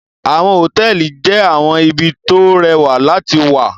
Àwọn hotẹẹli jẹ awọn ibi to o rẹwạ lati wạ